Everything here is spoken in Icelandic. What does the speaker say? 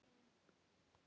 Það er margt baslið.